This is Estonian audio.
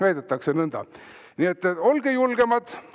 Nii et olge julgemad!